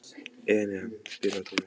Enea, spilaðu tónlist.